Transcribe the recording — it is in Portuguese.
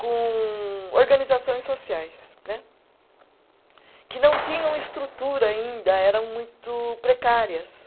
com organizações sociais né, que não tinham estrutura ainda, eram muito precárias.